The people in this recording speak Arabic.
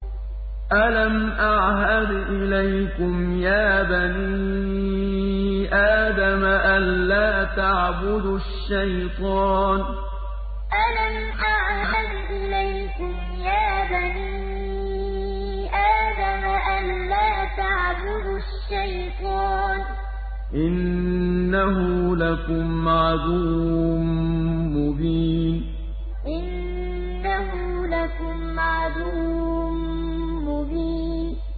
۞ أَلَمْ أَعْهَدْ إِلَيْكُمْ يَا بَنِي آدَمَ أَن لَّا تَعْبُدُوا الشَّيْطَانَ ۖ إِنَّهُ لَكُمْ عَدُوٌّ مُّبِينٌ ۞ أَلَمْ أَعْهَدْ إِلَيْكُمْ يَا بَنِي آدَمَ أَن لَّا تَعْبُدُوا الشَّيْطَانَ ۖ إِنَّهُ لَكُمْ عَدُوٌّ مُّبِينٌ